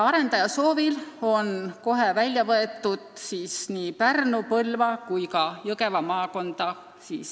Arendaja soovil on kohe välistatud tehase rajamine Pärnu, Põlva või Jõgeva maakonda.